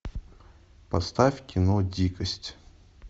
поставь кино дикость